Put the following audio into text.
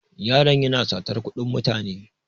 Yaron yana satar kuɗin mutane.